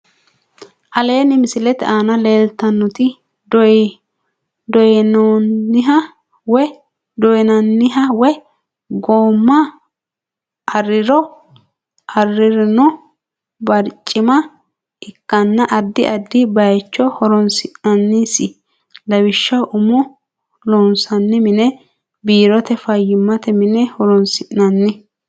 Aleenni misilete aana leeltannoti dooyannoha woy gooma aririno barcima ikkanna addi addi baayicho horonsi'nannise, lawishaho umo loonsanni mine biirote, fayyimmate mine ho'roonsi'nanni.